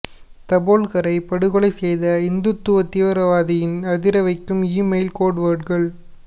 தபோல்கரை படுகொலை செய்த இந்துத்துவா தீவிரவாதியின் அதிரவைக்கும் இ மெயில் கோட்வேர்டுகள்